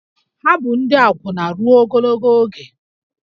Ha bụ ndị akwụna ruo ogologo oge